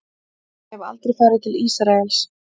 En ég hef aldrei farið til Ísraels.